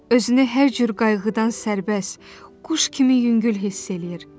Özünü hər cür qayğıdan sərbəst, quş kimi yüngül hiss eləyir.